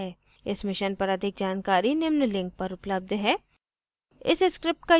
इस mission पर अधिक जानकारी निम्न लिंक पर उपलब्ध है